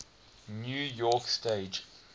new york stage